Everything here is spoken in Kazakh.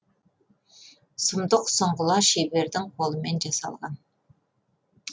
сұмдық сұңғыла шебердің қолымен жасалған